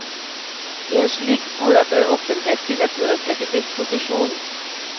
I en slik skole bør det offentlige stille bøker til disposisjon.